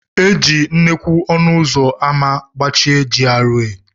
E ji nnukwu ọnụ ụzọ ámá gbachie GRA.